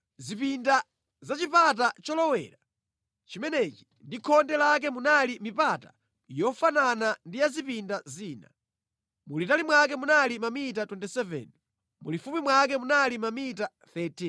Mʼzipinda za chipata cholowera chimenechi ndi mʼkhonde lake munali mipata yofanana ndi ya mʼzipinda zina. Mulitali mwake munali mamita 27, mulifupi mwake munali mamita 13.